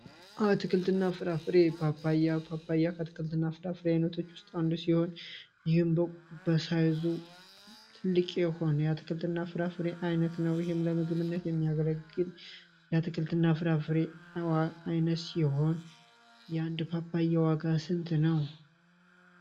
አትክልትና ፍራፍሬ ፓፓያ ከአትክልትና ፍራፍሬ አይነቶች ውስጥ አንዱ ሲሆን ይህም በመጠኑም ትልቅ የሆነ የአትክልትና የፍራፍሬ አይነት ለምግብነት የሚያገለግል ትክክልና የፍራፍሬ አይነት ሲሆን የአንድ ፓፓያ ዋጋ ስንት ነው?